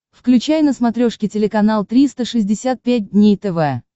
включай на смотрешке телеканал триста шестьдесят пять дней тв